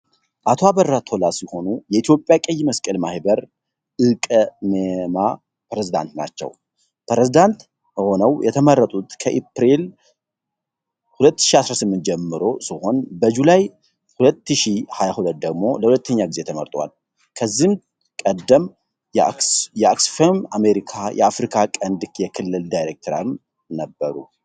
አቶ አበራ ቶላ ሲሆኑ የኢትዮጵያ ቀይ መስቀል ማኅበር (ኢ.ቀ.መ.ማ) ፕሬዝዳንት ናቸው። ፕሬዝዳንት ሆነው የተመረጡት ከኤፕሪል 2018 ጀምሮ ሲሆን በጁላይ 2022 ደግሞ ለሁለተኛ ጊዜ ተመርጠዋል። ከዚህ ቀደም የኦክስፋም አሜሪካ የአፍሪካ ቀንድ የክልል ዳይሬክተርም ነበሩ።